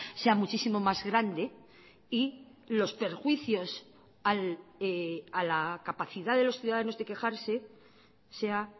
sea muchísimo más grande y los perjuicios a la capacidad de los ciudadanos de quejarse sea